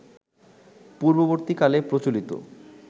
পূর্ববর্তীকালে প্রচলিত